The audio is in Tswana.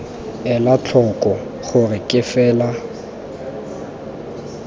ela tlhoko gore ke fela